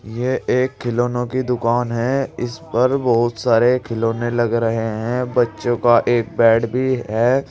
यह एक खिलौनों की दुकान है इस पर बहुत सारे खिलौने लग रहे है बच्चों का एक बैट भी है।